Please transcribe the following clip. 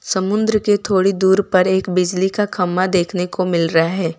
समुद्र के थोड़ी दूर पर एक बिजली का खंबा देखने को मिल रहा है।